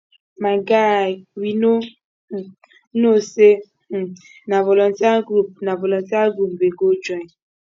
my guy we no um know say um na volunteer group na volunteer group we go join